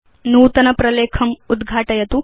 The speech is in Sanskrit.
नूतन प्रलेखम् उद्घाटयतु